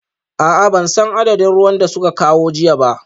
A'a ban san adadin ruwan da suka kawo jiya ba